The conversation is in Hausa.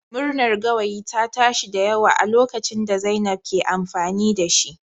Murnar gawayi ta tashi da yawa a lokacin da zainab ke amfani da shi